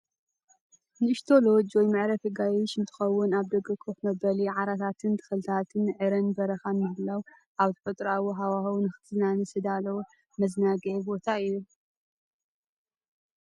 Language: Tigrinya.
ንእሽቶ ሎጅ ወይ መዕረፊ ኣጋይሽ እንትከውን፣ ኣብ ደገ ኮፍ መበሊ ዓራታትን ተኽልታት ዕረን በረኻን ምህላዉ ኣብ ተፈጥሮኣዊ ሃዋህው ንኽትዛነ ዝተዳለወ መዘናግዒ ቦታ እዩ።